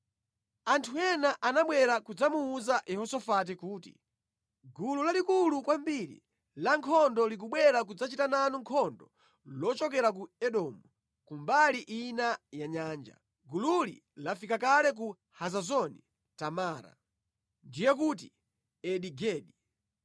Anthu ena anabwera kudzamuwuza Yehosafati kuti, “Gulu lalikulu kwambiri lankhondo likubwera kudzachita nanu nkhondo lochokera ku Edomu, ku mbali ina ya Nyanja. Gululi lafika kale ku Hazazoni Tamara” (ndiye kuti Eni-Gedi).